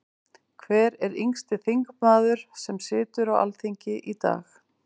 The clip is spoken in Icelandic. Hver er yngsti þingmaður sem situr á Alþingi í dag?